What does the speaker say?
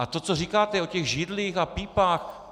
A to, co říkáte o těch židlích a pípách...